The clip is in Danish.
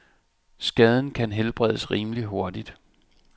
Skaden kan helbredes rimeligt hurtigt.